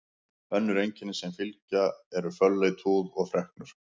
Önnur einkenni sem fylgja eru fölleit húð og freknur.